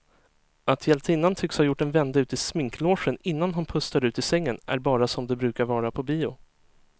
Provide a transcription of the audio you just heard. Att hjältinnan tycks ha gjort en vända ut i sminklogen innan hon pustar ut i sängen är bara som det brukar vara på bio.